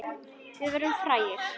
Við verðum frægir.